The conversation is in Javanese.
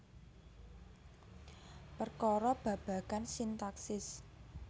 Perkara babagan sintaksis